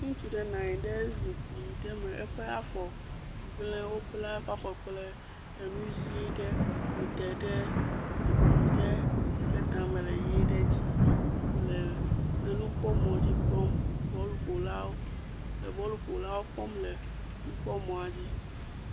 Ŋutsu ɖe nɔ anyi ɖe zikpui aɖe me eƒe afɔ gble wobla eƒe afɔ kple enu ʋi ɖe wodae ɖe zikpui ɖe si ke tame le ʋi ɖe dzi le enukpɔmɔ dzi kpɔm bɔluƒolawo le bɔluƒolawo kpɔm le nukpɔmɔ dzi.